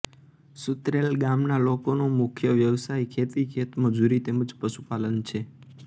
સુતરેલ ગામના લોકોનો મુખ્ય વ્યવસાય ખેતી ખેતમજૂરી તેમ જ પશુપાલન છે